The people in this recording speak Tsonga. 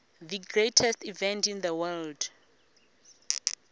the greatest event in the world